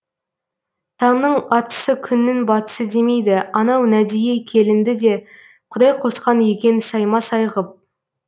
таңның атысы күннің батысы демейді анау нәдие келінді де құдай қосқан екен сайма сай ғып